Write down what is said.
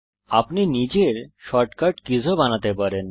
আপনি নিজের shortcut keys ও বানাতে পারেন